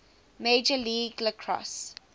major league lacrosse